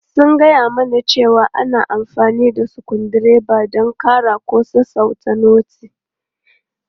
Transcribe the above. Sun gaya mana cewa ana amfani da sukuru dreba don ƙara ko sassauta noti.